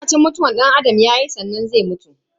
Sai lokacin mutuwan danAdam yayi sannan zai mutu.